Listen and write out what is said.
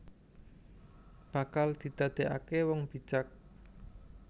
Bakal didakekake wong bijak